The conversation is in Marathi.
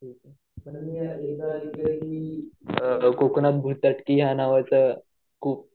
कोकणात की या नावाचा खूप